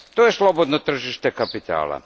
To je slobodno tržište kapitala.